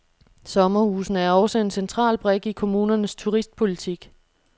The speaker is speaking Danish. Sommerhusene er også en central brik i kommunernes turistpolitik.